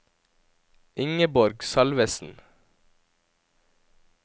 Ingeborg Salvesen